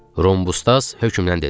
Rhombusdas hökmdən dedi.